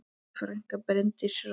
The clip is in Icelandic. Þín frænka, Bryndís Rós.